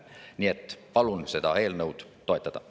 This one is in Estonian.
Nii et palun seda eelnõu toetada.